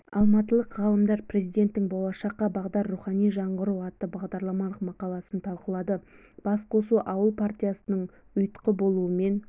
алматылық ғалымдар президенттің болашаққа бағдар рухани жаңғыру атты бағдарламалық мақаласын талқылады басқосу ауыл партиясының ұйытқы болуымен